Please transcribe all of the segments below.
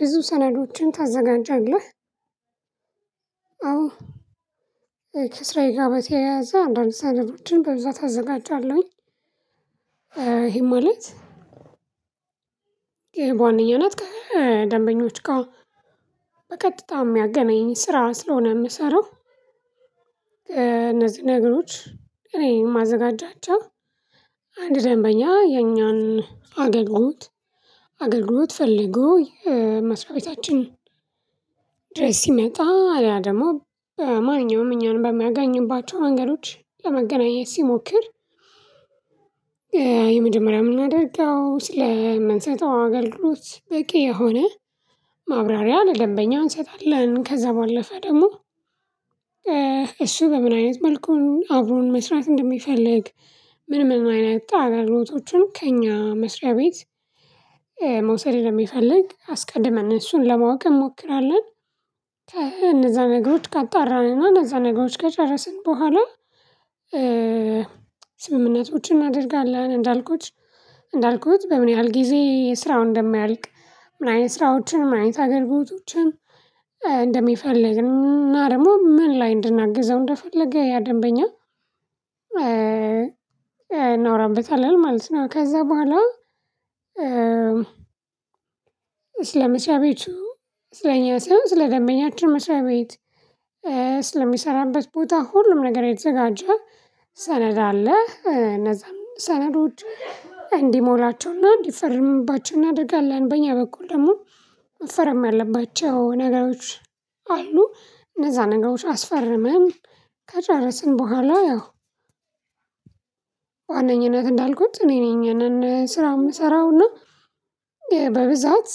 ብዙ ሰነዶችን ታዘጋጃለህ? አዎ። ከስራዬ ጋር በተያያዘ አንዳንድ ሰነዶችን በብዛት አዘጋጃለሁኝ ይሄ ማለት ይሄ በዋነኛነት ከደንበኞች ጋር በቀጥታ የሚያገናኝ ስራ ስለሆነ የምሰራው። እነዚህ ነገሮች እኔ የማዘጋጃቸው አንድ ደንበኛ የኛን አገልግሎት አገልግሎት ፈልጎ የመስሪያ ቤታችን ድረስ ሲመጣ ሌላ ደግሞ በማንኛውም እኛን በሚያገኝባቸው መንገዶች ለመገናኘት ሲሞክር የመጀመሪያ የምናደርገው ስለምንሰጠው አገልግሎት በቂ የሆነ ማብራሪያ ለደንበኛ እንሰጣለን። ከዛ ባለፈ ደግሞ እሱ በምን አይነት መልኩ አብሮን መስራት እንደሚፈልግ ምንም አይነት አገልግሎቶቹን ከእኛ መስሪያ ቤት መውሰድ እንደሚፈልግ አስቀድመን እሱን ለማወቅ እንሞክራለን። ከእነዛ ነገሮች ከጣራን እነዛ ነገሮች ከጨረስን በኋላ ስምምነቶችን እናደርጋለን። እንዳልኩት እንዳልኩት በምን ያህል ጊዜ ስራውን እንደማያልቅ ምን አይነት ስራዎችን ምን አይነት አገልግሎቶችን እንደሚፈልግ እና ደግሞ ምን ላይ እንድናግዘው እንደፈለገ ያ ደንበኛ እናውራበታለን ማለት ነው። ከዛ በኋላ ስለ መስርያ ቤቱ ስለ እኛ ስይሆን ስለ ደንበኛችን መስርያ ቤት። ስለ ሚሰራበት ቦታ ሁሉም ነገር የተዘጋጀ ሰነድ አለ። እነዛም ሰነዶች እንዲሞላቸውና እንዲፈርምባቸው እናደርጋለን በእኛ በኩል ደግሞ መፈረም ያለባቸው ነገሮች አሉ። እነዛ ነገሮች አስፈርመን ከጨረስን በኋላ ያው ዋነኝነት እንዳልኩት እኔ ነኝ ያንን ስራ የምሰራው እና በብዛት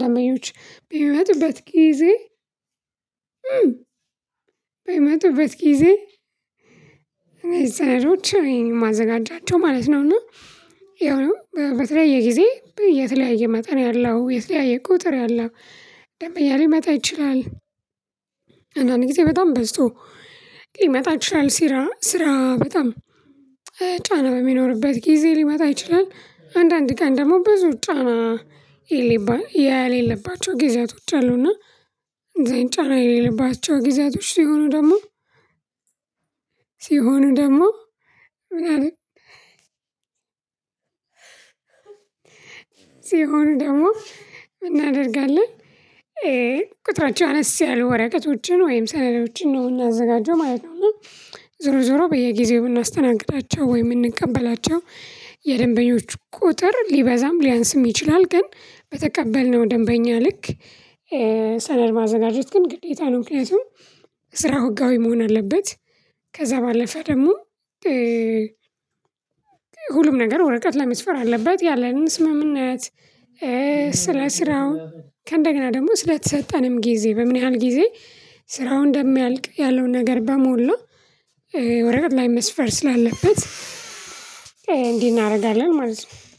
ደንበኞች በምመጡበት ጊዜ በምመጡበት ጊዜ እነዚህ ሰነዶች እኔ ነኝ የማዘጋጃቸው ማለት ነው። እና ያው በተለያየ ጊዜ የተለያየ መጠን ያለው የተለያየ ቁጥር ያለው ደንበኛ ሊመጣ ይችላል። አንዳንዴ በጣም በዝቶ ሊመጣ ይችላል ሲራ ስራ በጣም ጫና በሚኖርበት ጊዜ ሊመጣ ይችላል። አንዳንዴ ቀን ደግሞ ብዙ ጫና የሌለበት ያሌለባቸው ጊዜያቶች አሉና። እንደዛ አይነት ጫና የሌለባቸው ጊዜያቶች ሲሆኑ ደግሞ ሲሆኑ ደግሞ ምን አለ ሲሆን ደግሞ ምን እናደርጋለን? ቁጥራቸው አነስ ያሉ ወረቀቶችን ወይም ሰነዶችን ነው የሚያዘጋጀው ማለት ነው። ዞሮ ዞሮ በየጊዜው የምናስተናግዳቸው ወይ የምንቀበላቸው የደንበኞች ቁጥር ሊበዛም ሊያንስም ይችላል። ግን በተቀበልነው ደንበኛ ልክ ሰነድ ማዘጋጀት ግን ግዴታ ነው። ምክያቱም ስራው ህጋዊ መሆን አለበት። ከዛ ባለፈ ደግሞ ሁሉም ነገር ወረቀት ላይ መስፈር አለበት። ያለን ስምምነት ስለ ስራው ከእንደገና ደግሞ ስለተሰጠንም ጊዜ በምን ያህል ጊዜ ስራው እንደሚያልቅ ያለውን ነገር በሞላ ወረቀት ላይ መስፈር ስላለበት እንዲህ እናደርጋለን ማለት ነው።